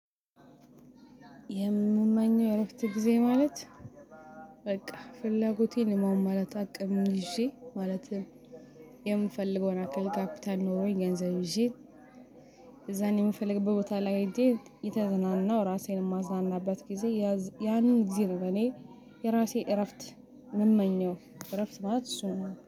የምመኘው የእረፍተ ጊዜ ማለት በቃ ፍላጎቴን የማሟላት አቅም ይዤ ማለትም የምፈልገውን አካል ካፒታል ኖሮኝ ገንዘብ ይዤ። ከዛን የምፈልግበት ቦታ ላይ ሂጄ እተዘናናው ራሴን የማዝናናበት ጊዜ ያንን እግዜር እኔ የራሴ እረፍት ምመኘው እረፍት ማለት እሱ ነው